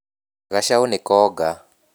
Gacaũ nĩkonga